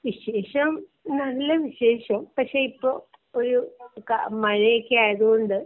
വിശേഷം നല്ല വിശേഷം പക്ഷെ ഇപ്പൊ ഒരു മഴ ഒക്കെ ആയത് കൊണ്ട്.